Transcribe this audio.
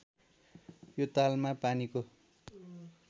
यो तालमा पानीको